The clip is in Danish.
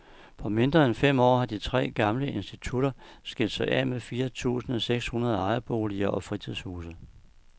På mindre end fem år har de tre gamle institutter skilt sig af med fire tusinde seks hundrede ejerboliger og fritidshuse.